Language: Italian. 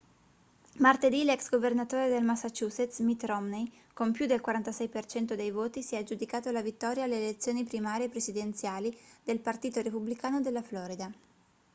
martedì l'ex governatore del massachusetts mitt romney con più del 46% dei voti si è aggiudicato la vittoria alle elezioni primarie presidenziali del partito repubblicano della florida